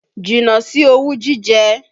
Jìnnà sí owú jíjẹ!